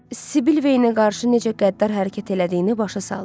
Sibil Veyni qarşı necə qəddar hərəkət elədiyini başa saldı.